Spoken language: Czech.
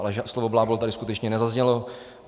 Ale slovo blábol tady skutečně nezaznělo.